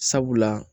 Sabula